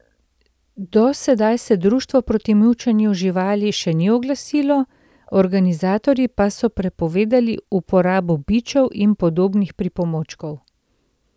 Do sedaj se društvo proti mučenju živali še ni oglasilo, organizatorji pa so prepovedali uporabo bičev in podobnih pripomočkov.